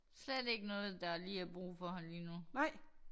Slet ikke noget der lige er brug for lige nu